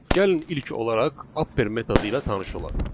Gəlin ilk olaraq Apper metodu ilə tanış olaq.